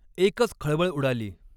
एकच खळबळ उडाली.